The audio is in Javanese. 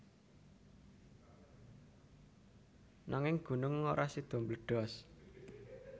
Nanging gunung ora sida mbledos